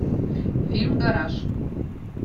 фильм гараж